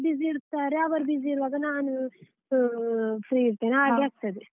busy ಇರ್ತಾರೆ ಅವರು busy ಇರುವಾಗ ನಾನು free ಇರ್ತೇನೆ ಹಾಗೆ ಆಗ್ತದೆ.